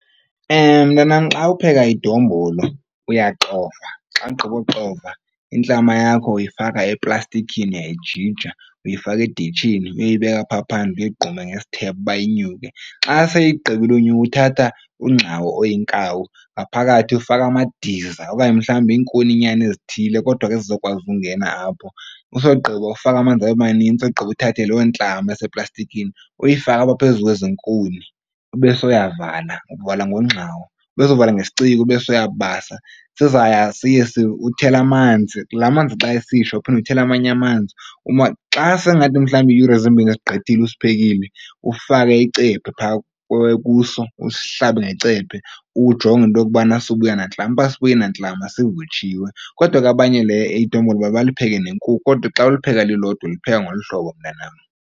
Mntanam, xa upheka idombolo uyaxova. Xa ugqiba kuxova intlama yakho uyifaka eplastikini, uyayijija uyifaka editshini uyoyibeka phaa phandle uyegqume ngesithebe uba inyuke. Xa seyigqibile unyuka uthatha ungxawu oyinkawu, ngaphakathi ufaka amadiza okanye mhlawumbi iinkuninyana ezithile kodwa ke ezizokwazi ukungena apho. Usogqiba ufake amanzi abe manintsi ogqiba uthathe loo ntlama eseplastikini uyifake apha phezu kwezi nkuni ube soyavala uvala ngongxawu ube sovala ngesciko ubese uyabasa. Sizaya siye uthele amanzi, la manzi xa esitsha uphinde uthele amanye amanzi uba xa sengathi mhlawumbi iiyure zimbini zigqithile usiphekile, ufake icephe phaa kuso usihlabe ngecephe ujonge into yokubana asizubuya nantlama. Uba asibuyi nantlama sivutshiwe. Kodwa ke abanye le idombolo baye balipheke nenkukhu kodwa xa ulipheka lilodwa ulipheka ngolu hlobo, mntanam.